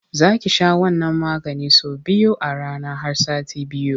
Za ki sha wannan maganin sau biyu a rana har sati biyu.